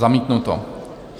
Zamítnuto.